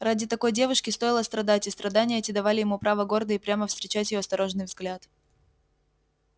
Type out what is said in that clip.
ради такой девушки стоило страдать и страдания эти давали ему право гордо и прямо встречать её осторожный взгляд